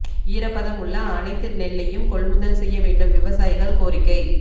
ஈரப்பதம் உள்ள அனைத்து நெல்லையும் கொள்முதல் செய்ய வேண்டும் விவசாயிகள் கோரிக்கை